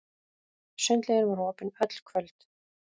Sundlaugin var opin öll kvöld.